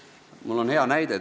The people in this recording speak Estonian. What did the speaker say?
Mul on tuua hea näide.